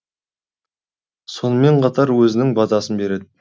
сонымен қатар өзінің батасын береді